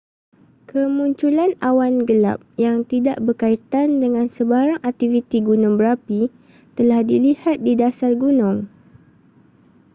kemunculan awan gelap yang tidak berkaitan dengan sebarang aktiviti gunung berapi telah dilihat di dasar gunung